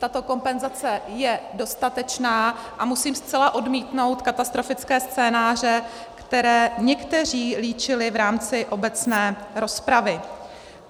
Tato kompenzace je dostatečná a musím zcela odmítnout katastrofické scénáře, které někteří líčili v rámci obecné rozpravy.